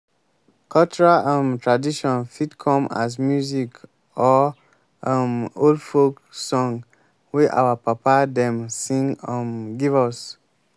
cultural um traditon fit come as music or um old folk song wey our papa dem sing um give us